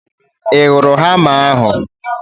I hụrụ hama ahu?